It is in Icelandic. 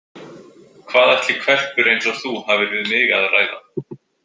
Hvað ætli hvelpur eins og þú hafir við mig að ræða?